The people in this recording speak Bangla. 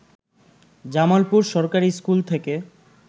জামালপুর সরকারি স্কুল থেকে